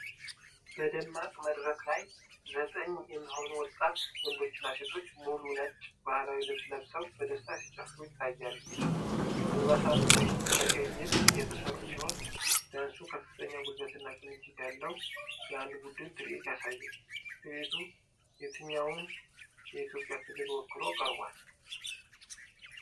በደማቅ መድረክ ላይ፣ ዘጠኝ የሚሆኑ ወጣት ወንዶችና ሴቶች ሙሉ ነጭ ባህላዊ ልብስ ለብሰው በደስታ ሲጨፍሩ ይታያሉ። አልባሳቱ በቀይ ጌጥ የተሰሩ ሲሆን፣ ዳንሱ ከፍተኛ ጉልበትና ቅንጅት ያለው የአንድ ቡድን ትርኢት ያሳያል። ትርኢቱ የትኛውን የኢትዮጵያ ክልል ወክሎ ቀርቧል?